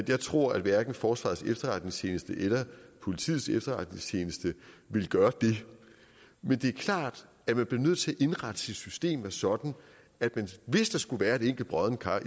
jeg tror at hverken forsvarets efterretningstjeneste eller politiets efterretningstjeneste ville gøre det men det er klart at man bliver nødt til at indrette sit system sådan at man hvis der skulle være et enkelt broddent kar